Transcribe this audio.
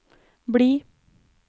bli